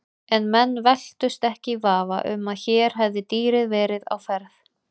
En menn velktust ekki í vafa um að hér hefði dýrið verið á ferð.